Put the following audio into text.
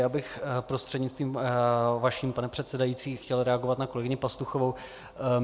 Já bych prostřednictvím vaším, pane předsedající, chtěl reagovat na kolegyni Pastuchovou.